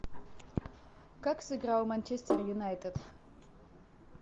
как сыграл манчестер юнайтед